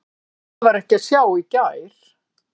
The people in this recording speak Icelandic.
Það var ekki að sjá í gær.